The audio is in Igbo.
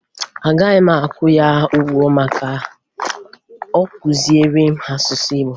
Aga m akwụ ya ụgwọ ma ọ kụziere m asụsụ Igbo